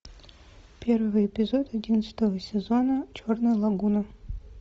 первый эпизод одиннадцатого сезона черная лагуна